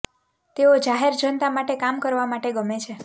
તેઓ જાહેર જનતા માટે કામ કરવા માટે ગમે છે